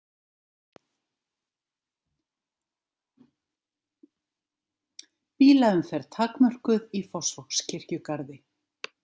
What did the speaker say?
Bílaumferð takmörkuð í Fossvogskirkjugarði